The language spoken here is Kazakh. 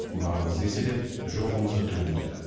барымызды еселеп жоғымызды түгендедік